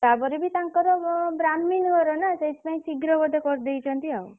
ତାପରେ ବି ତାଙ୍କର brahmin ଘର ନା ସେଇଥିପାଇଁ ଶୀଘ୍ର ବୋଧେ କରିଦେଇଛନ୍ତି ଆଉ।